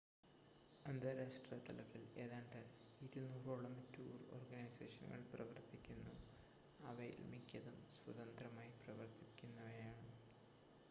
അന്താരാഷ്‌ട്ര തലത്തിൽ ഏതാണ്ട് 200 ഓളം ടൂർ ഓർഗനൈസേഷനുകൾ പ്രവർത്തിക്കുന്നു അവയിൽ മിക്കതും സ്വതന്ത്രമായി പ്രവർത്തിക്കുന്നവയാണ്